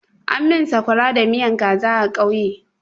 An min sakwara da miyan kaza a ƙauye.